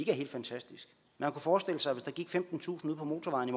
er helt fantastiske man kunne forestille sig at der gik femtentusind ude på motorvejen i